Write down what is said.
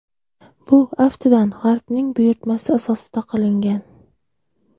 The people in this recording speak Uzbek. Bu, aftidan, G‘arbning buyurtmasi asosida qilingan.